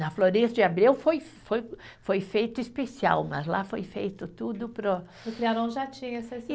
Na Florêncio de Abreu foi foi, foi feito especial, mas lá foi feito tudo para o. No Trianon já tinha essa